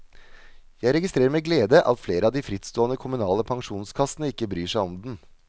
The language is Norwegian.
Jeg registrerer med glede at flere av de frittstående kommunale pensjonskassene ikke bryr seg om den.